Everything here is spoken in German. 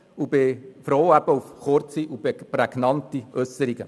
Ich bin froh um kurze, prägnante Äusserungen.